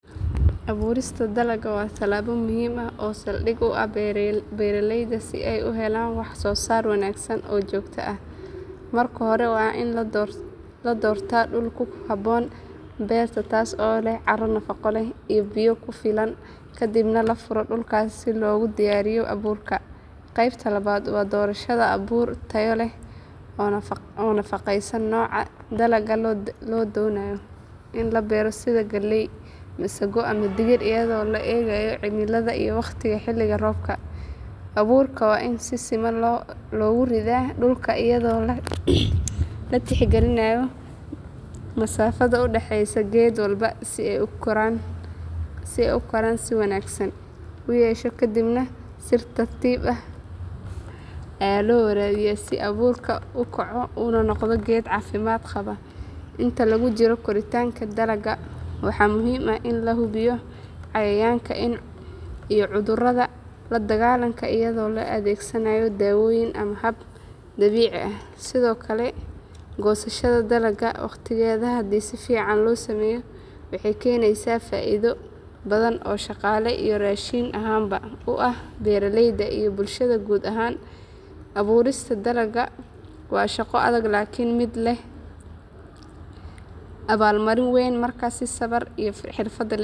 Abuurista dalagga waa tallaabo muhiim ah oo saldhig u ah beeralayda si ay u helaan wax soo saar wanaagsan oo joogto ah. Marka hore waa in la doortaa dhul ku habboon beerta taas oo leh carro nafaqo leh iyo biyo ku filan kadibna la furo dhulka si loogu diyaariyo abuurka. Qaybta labaad waa doorashada abuur tayo leh oo waafaqsan nooca dalagga la doonayo in la beero sida galley, masaggo ama digir iyadoo la eegayo cimilada iyo waqtiga xilliga roobka. Abuurka waa in si siman loogu ridaa dhulka iyadoo la tixgelinayo masaafada u dhaxaysa geed walba si uu koritaan wanaagsan u yeesho kadibna si tartiib ah ayaa loo waraabiyaa si abuurku u kaco una noqdo geed caafimaad qaba. Inta lagu jiro koritaanka dalagga waxaa muhiim ah in la hubiyo cayayaanka iyo cudurrada la dagaalanka iyadoo la adeegsanayo daawooyin ama hab dabiici ah. Sidoo kale goosashada dalagga waqtigeeda haddii si fiican loo sameeyo waxay keenaysaa faa’iido badan oo dhaqaale iyo raashin ahaanba u ah beeraleyda iyo bulshada guud ahaan. Abuurista dalagga waa shaqo adag laakiin mid leh abaalmarin weyn marka si sabir iyo xirfad leh.